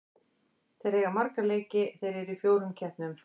Þeir eiga marga leiki, þeir eru í fjórum keppnum.